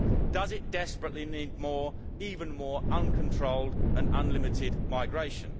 Does it desperately need even more uncontrolled and unlimited migration?